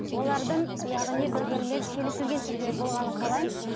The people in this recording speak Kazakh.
олардың яғни бір бірімен келісілген түрде болғанын қалаймын